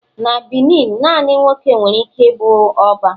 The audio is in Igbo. na Benin, nani nwoke nwere ike ibu oba